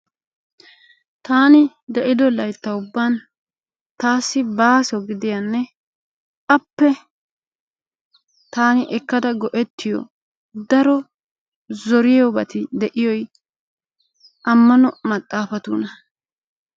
Taani de"ido laytta ubban taassi baaso gidiyanne appe taani ekkada go"ettiyo daro zoriyoobati de"iyoy ammano maxaafatuuna.